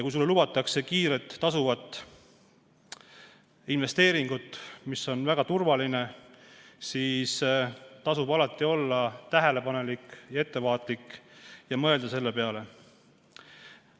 Kui sulle lubatakse kiiresti tasuvat investeeringut, mis olevat väga turvaline, siis tasub alati olla tähelepanelik ja ettevaatlik ning mõelda selle peale.